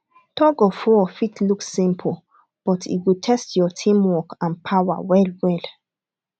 tugofwar fit look simple but e go test your teamwork and power well well